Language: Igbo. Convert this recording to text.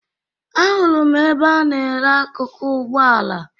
Ahụrụ m ebe a na-ere akụkụ ụgbọala